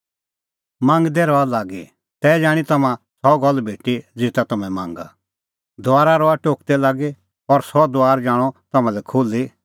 मांगदै रहा लागी तै जाणीं तम्हां सह गल्ल भेटी ज़ेता तम्हैं मांगा दुआरा रहा टोकदै लागी और सह दुआर जाणअ तम्हां लै खुल्ही